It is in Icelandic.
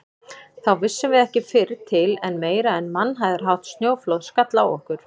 Þá vissum við ekki fyrr til en meira en mannhæðarhátt snjóflóð skall á okkur.